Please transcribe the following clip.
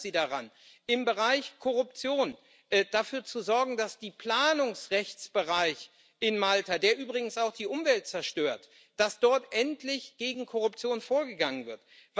Was hindert Sie daran, im Bereich Korruption dafür zu sorgen, dass der Planungsrechtsbereich in Malta, der übrigens auch die Umwelt zerstört, dass dort endlich gegen Korruption vorgegangen wird?